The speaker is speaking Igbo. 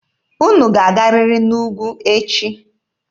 Unu ga-agarịrị n'ugwu echi!